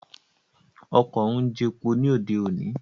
Ọkọ̀ ń jepo ní òde òní